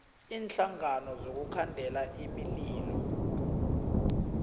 iinhlangano zokukhandela imililo